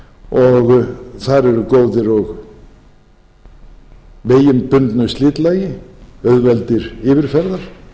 og þar eru góðir vegir með bundnu slitlagi auðveldir yfirferðar